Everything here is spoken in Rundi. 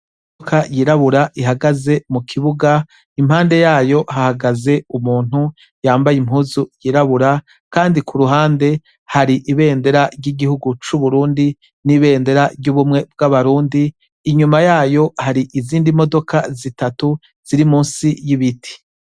Imodoka yiraburabura ihagaze mukibuga , impande yayo hahagaze umuntu yambaye impuzu yirabura Kandi kuruhande hari ibendera ryigihugu cu Burundi nibendera ry'ubumwe bwa barundi, inyuma yayo hari izindi modoka zitatu ziri munsi yibiti.